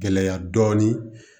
Gɛlɛya dɔɔnin